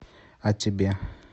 а тебе